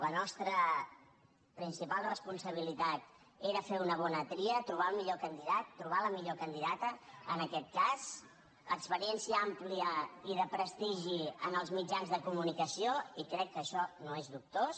la nostra principal responsabilitat era fer una bona tria trobar el millor candidat trobar la millor candidata en aquest cas experiència àmplia i de prestigi en els mitjans de comunicació i crec que això no és dubtós